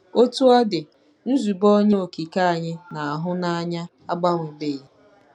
Otú ọ dị, nzube Onye Okike anyị na-ahụ n'anya agbanwebeghị.